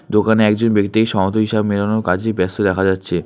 দোকানে একজন ব্যক্তি সমত হিসাব মেলানোর কাজে ব্যস্ত দেখা যাচ্ছে।